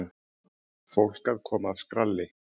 Fólk að koma af skralli.